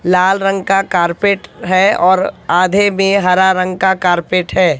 लाल रंग का कारपेट है और आधे में हरा रंग का कारपेट है।